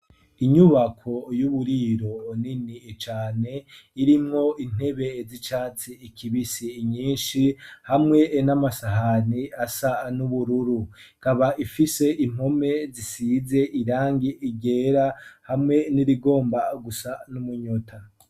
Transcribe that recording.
Inyubako y'uburiro nini cane irimwo intebe z'icatsi kibisi nyishi hamwe n'amasahani asa n'ubururu ikaba ifise impome zisize irangi ryera hamwe n'irigomba gusa n'umunyota.